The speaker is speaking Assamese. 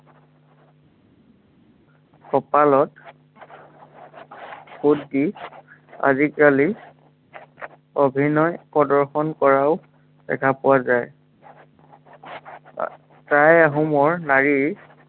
কঁপালত ফোট দি, আজিকালি অভিনয় প্ৰদৰ্শন কৰাও দেখা পোৱা যায়। টাই আহোমৰ নাৰীৰ